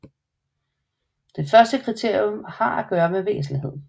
Det første kriterium har at gøre med væsentlighed